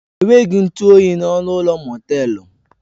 Enweghị ntụ oyi n'ọnụ ụlọ mọtelu.